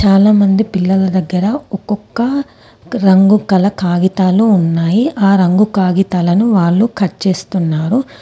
చాలామంది పిల్లల దగ్గర ఒకొక్క రంగు గల కాగితాలు ఉన్నాయి. ఆ రంగు కాగితాలను వాళ్ళు కట్ చేస్తున్నారు.